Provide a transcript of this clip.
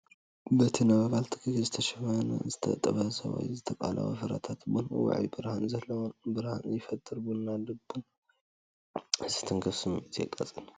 በቲ ነበልባል ትኪ ዝተሸፈነ ዝተጠበሰ ወይ ዝተቐለወ ፍረታት ቡን ውዑይን ብርሃን ዘለዎን ብርሃን ይፈጥር፤ ጨና ቡን ልቢ ዝትንክፍ ስምዒት የቃጽል።